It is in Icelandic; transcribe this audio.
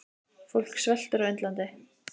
Fólk sveltur á Indlandi.